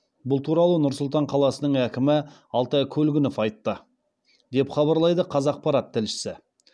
бұл туралы нұр сұлтан қаласының әкімі алтай көлгінов айтты деп хабарлайды қазақпарат тілшісі